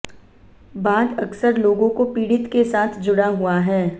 बाद अक्सर लोगों को पीड़ित के साथ जुड़ा हुआ है